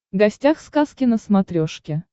гостях сказки на смотрешке